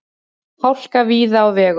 Hálka víða á vegum